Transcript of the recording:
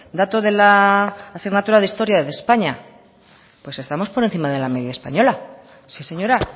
dato de la asignatura de historia de españa pues estamos por encima de la media española sí señora